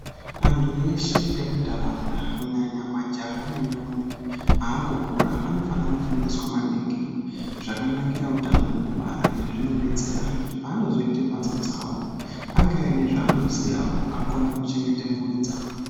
Antu veshe vemuntaraunda kunyanya majaha nendombi akukura anofane kufundiswa maningi zvakanikira utano wekubara izvi zvinodetsera pavanozoita mhatso dzavo ange aine zvavanoziyawo akone kuchengeta mpuri dzavo.